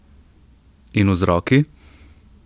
In vzroki?